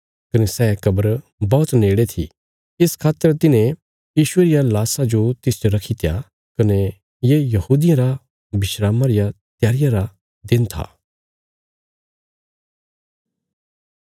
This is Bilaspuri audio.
कने सै कब्र बौहत नेड़े थी इस खातर तिन्हे यीशुये रिया लाशा जो तिसच रखीत्या कने ये यहूदियां रा विस्रामा रिया त्यारिया रा दिन था